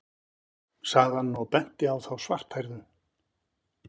sagði hann og benti á þá svarthærðu.